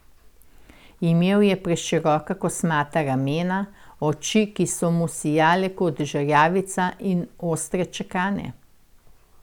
Imel je preširoka kosmata ramena, oči, ki so mu sijale kot žerjavica, in ostre čekane.